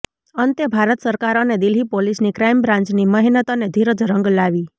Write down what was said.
અંતે ભારત સરકાર અને દિલ્હી પોલીસની ક્રાઇમ બ્રાન્ચની મહેનત અને ધીરજ રંગ લાવી